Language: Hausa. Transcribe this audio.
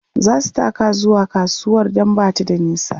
zasu taka zuwa kasuwar Dan Bata da nisa